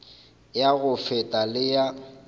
ya go feta le ya